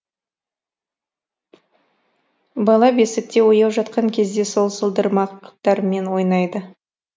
бала бесікте ояу жатқан кезде сол сылдырмақтармен ойнайды